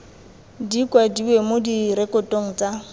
di kwadiwe mo direkotong tsa